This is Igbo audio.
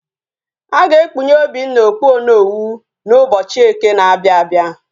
Aga ekpunye Obinna okpu onowu na ubochi eke na abia abia